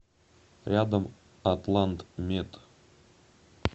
рядом атлантмед